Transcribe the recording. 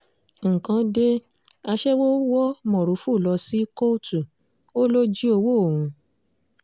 nǹkan dé aṣẹ́wó wọ mórúfú lọ sí kóòtù ó lọ jí ọwọ́ òun